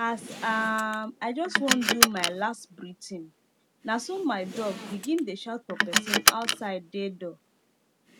as um i jus wan do my las breath in naso my dog begin dey shout for pesin outside dey door